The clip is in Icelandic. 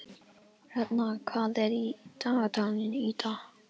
Hertha, hvað er í dagatalinu í dag?